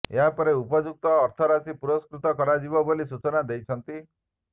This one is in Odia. ଏହାପରେ ଉପଯୁକ୍ତ ଅର୍ଥରାଶି ପୁରସ୍କୃତ କରାଯିବ ବୋଲି ସୂଚନା ଦେଇଛନ୍ତି